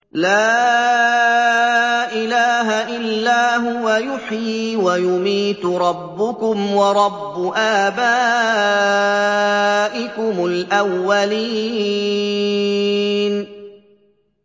لَا إِلَٰهَ إِلَّا هُوَ يُحْيِي وَيُمِيتُ ۖ رَبُّكُمْ وَرَبُّ آبَائِكُمُ الْأَوَّلِينَ